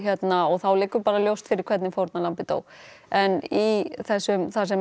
þá liggur bara ljóst fyrir hvernig fórnarlambið dó en í þessum þar sem